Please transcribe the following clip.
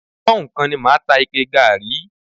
Pọ́nhùn kan ni a máa ta ike gààrí